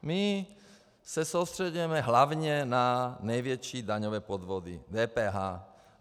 My se soustřeďujeme hlavně na největší daňové podvody DPH.